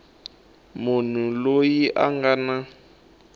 munhu loyi a nga na